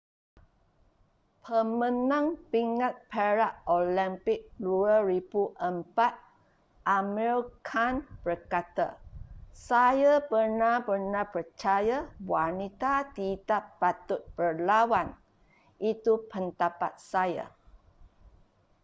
pemenang pingat perak olimpik 2004 amir khan berkata saya benar-benar percaya wanita tidak patut berlawan itu pendapat saya